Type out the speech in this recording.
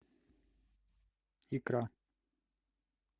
икра